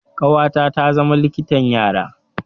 Ƙawata ta zama likitan yara.